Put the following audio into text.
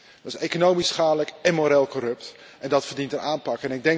Dat is economisch schadelijk en moreel corrupt en dat verdient een aanpak.